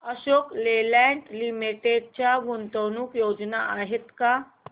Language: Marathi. अशोक लेलँड लिमिटेड च्या गुंतवणूक योजना आहेत का